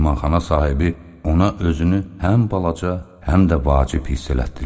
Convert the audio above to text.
Mehmanxana sahibi ona özünü həm balaca, həm də vacib hiss elətdirirdi.